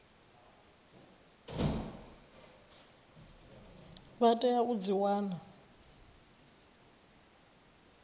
vha tea u dzi wana